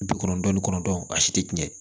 Bi kɔnɔntɔn ni kɔnɔntɔn a si tɛ tiɲɛ